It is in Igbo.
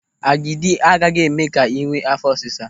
Agidi agaghị eme gị ka ị nwee áfọ́ ọsịsa.